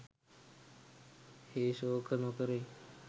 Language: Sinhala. හේ ශෝක නො කෙරෙයි.